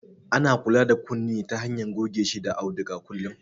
Ana kula da kunne ta hanyar goge shi da auduga kullum